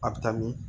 A bɛ taa min